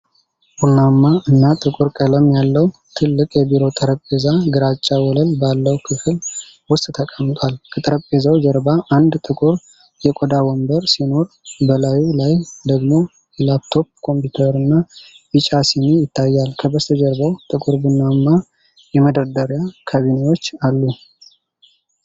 ቡናማ እና ጥቁር ቀለም ያለው ትልቅ የቢሮ ጠረጴዛ ግራጫ ወለል ባለው ክፍል ውስጥ ተቀምጧል። ከጠረጴዛው ጀርባ አንድ ጥቁር የቆዳ ወንበር ሲኖር፣ በላዩ ላይ ደግሞ የላፕቶፕ ኮምፒውተርና ቢጫ ስኒ ይታያል። ከበስተጀርባው ጥቁር ቡናማ የመደርደሪያ ካቢኔቶች አሉ።